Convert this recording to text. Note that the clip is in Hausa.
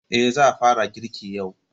Eh, za a fara girki yau.